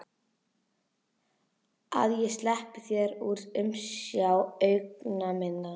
Að ég sleppi þér úr umsjá augna minna?